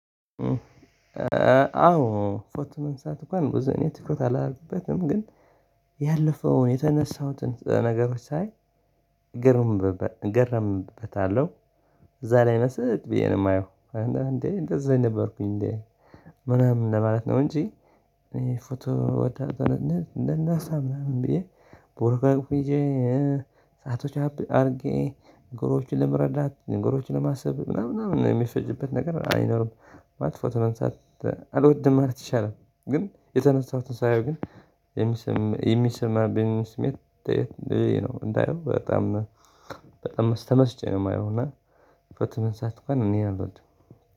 አዎ ፎቶ ማንሳት እንኳን ቡዝኔ ትኩረት አላረግበትም ግን ያለፈውን የተነሣሁትን ነገሮች ሳይ እገረምበታለሁ እዛ ላይ ምስጥ ብዬ ነው የማየው። እንዴ እንደዛ ነበርኩኝ እንዴ ምናምን ለማለት ነው። እንጂ ፎቶ ወጣት እንደናሣ ምናምን ብዬ ቦርጋግ ፊጄ ሰአቶች አድርጌ ንገሮችን ለመረዳት ንገሮችን ለማሰብ ምናምን ምናምን ነው የሚፈጅበት ነገር አይኖርም። ባትፎት ነው መንሣት አልወድም ማለት ይሻላል። ግን የተመሳሱትን ሳየው ግን የሚሰማብኝ ስሜት እንዳየው በጣም በጣም ስተመስጬ ነው የማየው። እና በትምህርት ሰዓት እንኳን እኔ አልኩት።